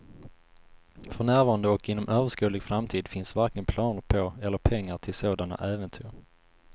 För närvarande och inom överskådlig framtid finns varken planer på eller pengar till sådana äventyr.